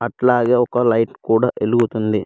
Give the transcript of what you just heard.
అట్లాగే ఒక లైట్ కూడా వెలుగుతుంది.